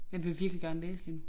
Jeg vil virkelig gerne læse lige nu